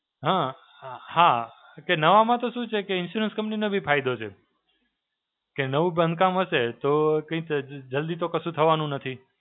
હાં, હાં. કે નવામાં તો શું છે કે insurance company નો બી ફાયદો છે. કે નવું બંધ કામ હશે તો કઈ જલ્દી તો કશું થવાનું નથી.